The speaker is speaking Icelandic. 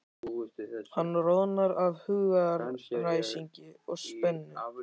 Hann roðnar af hugaræsingi og spennu.